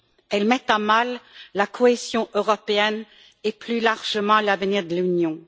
Elles mettent à mal la cohésion européenne et, plus largement, l'avenir de l'Union.